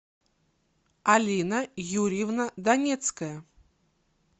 алина юрьевна донецкая